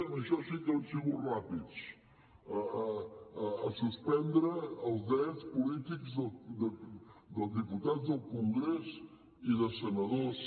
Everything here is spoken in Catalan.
en això sí que han sigut ràpids a suspendre els drets polítics dels diputats al congrés i de senadors